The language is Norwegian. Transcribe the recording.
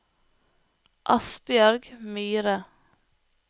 Asbjørg Myhre